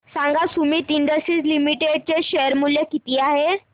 सांगा Sumeet industries limited चे share मूल्य किती आहे